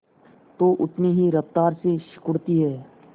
तो उतनी ही रफ्तार से सिकुड़ती है